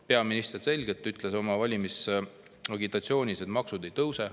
Peaminister ütles oma valimisagitatsioonis selgelt, et maksud ei tõuse.